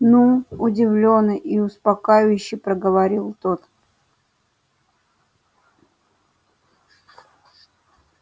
ну удивлённо и успокаивающе проговорил тот